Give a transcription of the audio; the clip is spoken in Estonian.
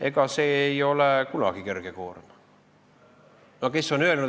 Aga kes on öelnud, et elu peab kerge olema?